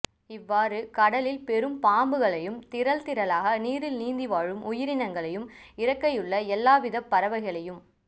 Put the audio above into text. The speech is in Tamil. இவ்வாறு கடலில் பெரும் பாம்புகளையும் திரள் திரளாக நீரில் நீந்தி வாழும் உயிரினங்களையும் இறக்கையுள்ள எல்லாவிதப் பறவைகளையும்